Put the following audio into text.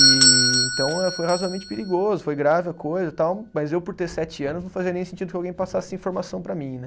E então, foi razoavelmente perigoso, foi grave a coisa e tal, mas eu por ter sete anos não fazia nem sentido que alguém passasse informação para mim, né?